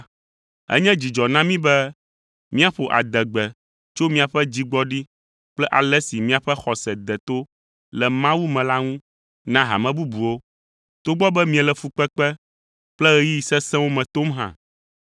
Enye dzidzɔ na mí be míaƒo adegbe tso miaƒe dzigbɔɖi kple ale si miaƒe xɔse de to le Mawu me la ŋu na hame bubuwo, togbɔ be miele fukpekpe kple ɣeyiɣi sesẽwo me tom hã.